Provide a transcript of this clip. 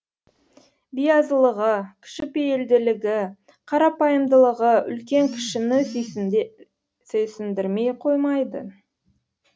биязылығы кішіпейілділігі қарапайымдылығы үлкен кішіні сүйсіндірмей қоймайтын